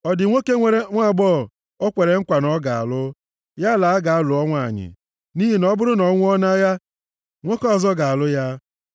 Ọ dị nwoke nwere nwaagbọghọ o kwere nkwa na ọ ga-alụ? Ya laa, gaa lụọ nwanyị! Nʼihi na ọ bụrụ na ọ nwụọ nʼagha, nwoke ọzọ ga-alụ ya.”